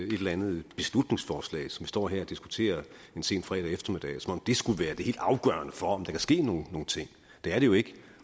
et eller andet beslutningsforslag som vi står her og diskuterer en sen fredag eftermiddag som om det skulle være det helt afgørende for om der kan ske nogle ting det er det jo ikke